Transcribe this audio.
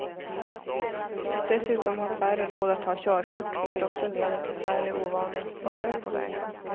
Dessutom har färre råd att ta körkort, vilket också leder till färre ovana förare på vägarna.